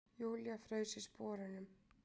Júlía fraus í sporunum.